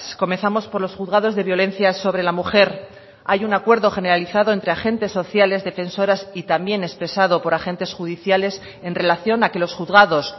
comenzamos por los juzgados de violencia sobre la mujer hay un acuerdo generalizado entre agentes sociales defensoras y también expresado por agentes judiciales en relación a que los juzgados